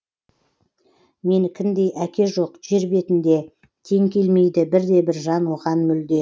менікіндей әке жоқ жер бетінде тең келмейді бірде бір жан оған мүлде